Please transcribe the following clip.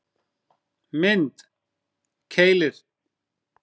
Mynd: Keilir